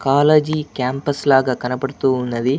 college campus లాగ కనబతూ ఉన్నది --